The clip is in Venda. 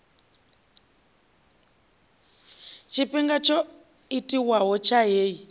tshifhinga tsho tiwaho tsha heyi